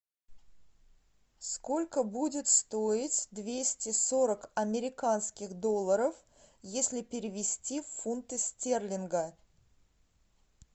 сколько будет стоить двести сорок американских долларов если перевести в фунты стерлинга